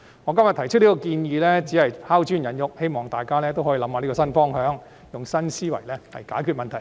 我今天提出這項建議，只是拋磚引玉，希望大家可以思考這個新方向，用新思維來解決問題。